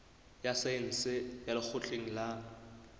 ya saense ya lekgotleng la